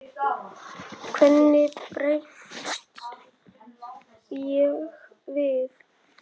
Hvernig bregst ég við?